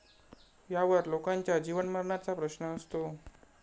यावर लोकांच्या जीवनमरणाचा प्रश्न असतो.